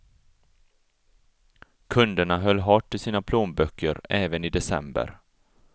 Kunderna höll hårt i sina plånböcker även i december.